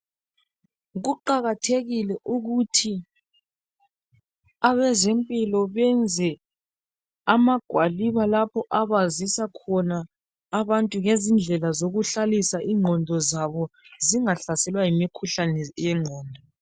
Kuqakathekile ukuthi abezempilakahle benze amagwaliba lapha abazisakhona abantu ngezindlela zokuhlalisa ingqondo zabo zingahlaselwa yimikhuhlane yengqondo.